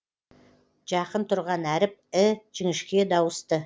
жақын тұрған әріп і жіңішке дауысты